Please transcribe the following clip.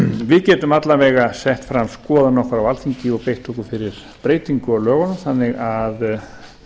við getum alla vega sett fram skoðun okkar á alþingi og beitt okkur fyrir breytingu á lögunum þannig að